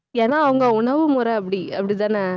ஏன்னா, அவங்க உணவுமுறை அப்படி அப்படித்தானே